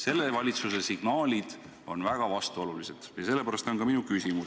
Selle valitsuse signaalid on aga väga vastuolulised ja sellest tuleneb ka minu küsimus.